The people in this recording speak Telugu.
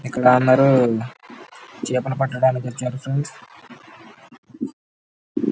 ఇక్కడ అందరూ చేపలు పట్టడానికి వచ్చారు ఫ్రెండ్స్ .